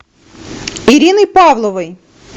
ириной павловой